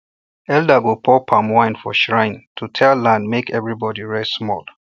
elder go pour palm wine for shrine to tell land make everybody rest small